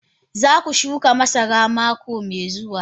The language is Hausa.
Za ku shuka masara mako mai zuwa